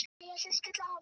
Hún var æf af reiði.